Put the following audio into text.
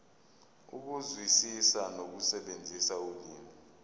ukuzwisisa nokusebenzisa ulimi